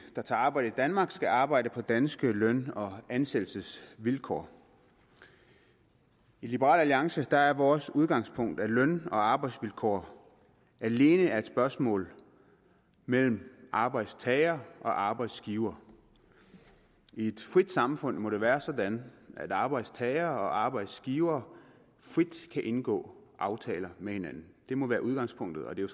der tager arbejde i danmark skal arbejde på danske løn og ansættelsesvilkår i liberal alliance er er vores udgangspunkt at løn og arbejdsvilkår alene er et spørgsmål mellem arbejdstager og arbejdsgiver i et frit samfund må det være sådan at arbejdstagere og arbejdsgivere frit kan indgå aftaler med hinanden det må være udgangspunktet og det er